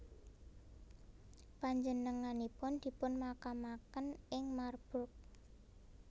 Panjenenganipun dipunmakamaken ing Marburg